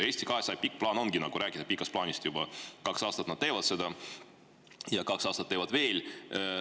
Eesti 200 pikk plaan ongi rääkida pikast plaanist, nad juba kaks aastat teevad seda ja kaks aastat teevad veel.